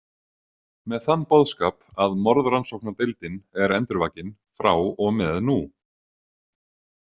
Með þann boðskap að morðrannsóknardeildin er endurvakin, frá og með nú.